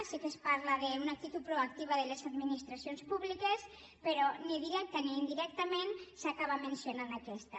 sí que es parla d’una actitud proactiva de les administracions públiques però ni directament ni indirectament s’acaba mencionant aquesta